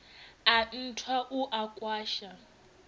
a nthwa u a kwasha